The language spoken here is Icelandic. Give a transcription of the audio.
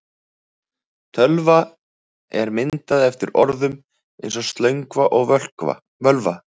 Tölva er myndað eftir orðum eins og slöngva og völva.